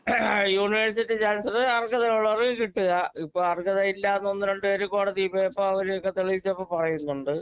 university chancellor അർഹതയുള്ളവർക്ക് കിട്ടുക ഇപ്പോ അർഹതയില്ലാത്ത ഒന്നുരണ്ടുപേര് കോടതി പോയപ്പോ അവരെയൊക്കെ തെളിയിച്ചപ്പോ പറയുന്നുണ്ട്